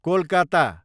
Kolkata